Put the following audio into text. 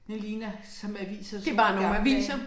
Det ligner som aviser som i gamle dage